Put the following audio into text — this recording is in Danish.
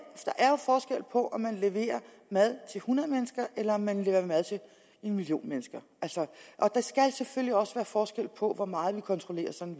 forskel på om man leverer mad til hundrede mennesker eller om man leverer mad til en million mennesker og der skal selvfølgelig også være forskel på hvor meget vi kontrollerer sådan